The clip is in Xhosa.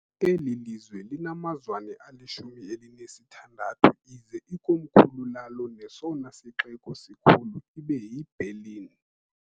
eli "lizwe" linamazwana ali-16 ize ikomkhulu lalo nesona sixeko sikhulu ibe yi-Berlin.